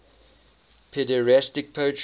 pederastic poetry